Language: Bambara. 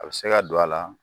A bi se ka don a la